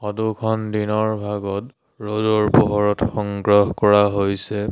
Photo খন দিনৰ ভাগত ৰ'দৰ পোহৰত সংগ্ৰহ কৰা হৈছে।